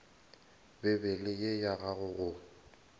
bibele ye ya gago go